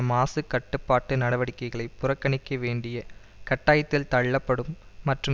மாசுக்கட்டுப்பாட்டு நடவடிக்கைகளை புறக்கணிக்க வேண்டிய கட்டாயத்தில் தள்ளப்படும் மற்றும்